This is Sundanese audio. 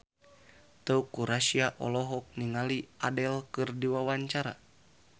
Teuku Rassya olohok ningali Adele keur diwawancara